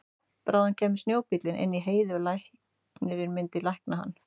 Bráðum kæmi snjóbíllinn inn í Heiði og læknirinn myndi lækna hann.